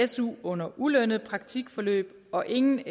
su under ulønnet praktikforløb og ingen